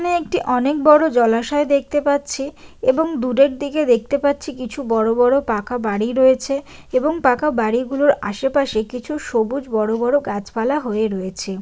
এখানে একটি অনেক বড় জলাশয় দেখতে পাচ্ছি এবং দূরের দিকে দেখতে পাচ্ছি কিছু বড় বড় পাকা বাড়ি রয়েছে এবং পাকা বাড়িগুলোর আশেপাশে কিছু সবুজ বড় বড় গাছপালা হয়ে রয়েছে।